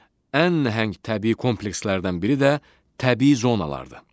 Ən nəhəng təbii komplekslərdən biri də təbii zonalardır.